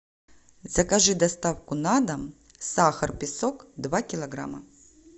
закажи доставку на дом сахар песок два килограмма